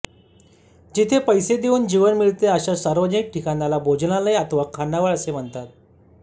जिथे पैसे देऊन जेवण मिळते अशा सार्वजनिक ठिकाणाला भोजनालय अथवा खानावळ असे म्हणतात